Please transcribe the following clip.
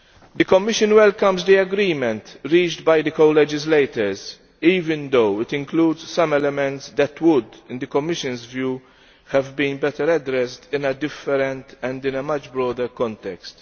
The Commission welcomes the agreement reached by the co legislators, even though it includes some elements that would, in the Commission's view, have been better addressed in a different, and in a much broader context.